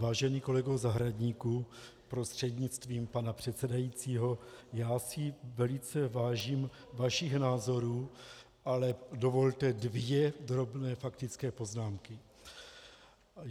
Vážený kolego Zahradníku prostřednictvím pana předsedajícího, já si velice vážím vašich názorů, ale dovolte dvě drobné faktické poznámky.